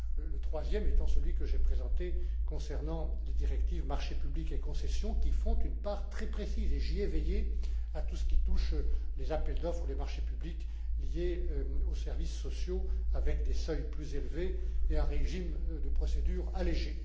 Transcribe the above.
Le troisième est celui que j'ai présenté concernant les directives sur les marchés publics et les concessions, qui font une part très précise et j'y ai veillé à tout ce qui touche les appels d'offres, les marchés publics liés aux services sociaux avec des seuils plus élevés et un régime de procédure allégé.